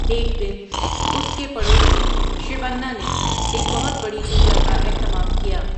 ایک دن اس کے پڑوسی شِوَنّا نے ایک بہت بڑی پوجا کا اہتمام کیا۔